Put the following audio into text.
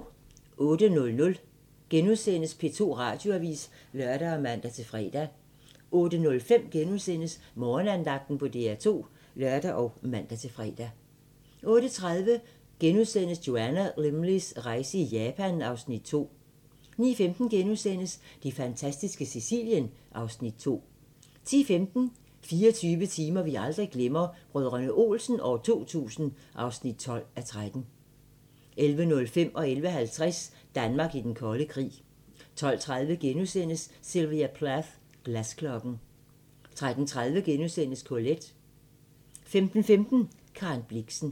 08:00: P2 Radioavis *(lør og man-fre) 08:05: Morgenandagten på DR2 *(lør og man-fre) 08:30: Joanna Lumleys rejse i Japan (Afs. 2)* 09:15: Det fantastiske Sicilien (Afs. 2)* 10:15: 24 timer vi aldrig glemmer: Brdr. Olsen 2000 (12:13) 11:05: Danmark i den kolde krig 11:50: Danmark i den kolde krig 12:30: Sylvia Plath – Glasklokken * 13:30: Colette * 15:15: Karen Blixen